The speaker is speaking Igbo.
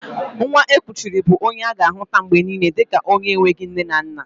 Nwa e kuchiri bụ onye a ga-ahuta mgbe niile dika onye enweghị nne na nna